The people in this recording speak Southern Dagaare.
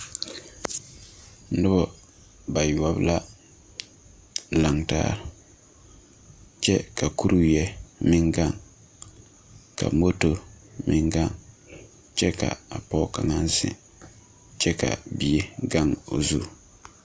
Nuba bayuobo la langtaa kye ka kuriwei meng gang ka moto meng gang kye ka a poɔ kanga meng zeng kye ka bie gang ɔ zu.